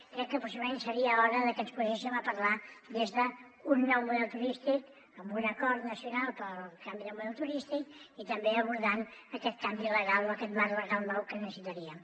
crec que possiblement seria hora de que ens poséssim a parlar des d’un nou model turístic amb un acord nacional pel canvi de model turístic i també abordant aquest canvi legal o aquest marc legal nou que necessitaríem